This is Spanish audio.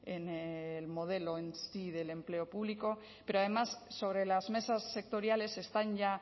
en el modelo en sí del empleo público pero además sobre las mesas sectoriales están ya